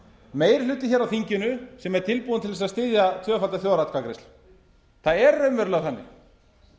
meiri hluti á þinginu sem er tilbúinn til að styðja tvöfalda þjóðaratkvæðagreiðslu það er raunverulega þannig en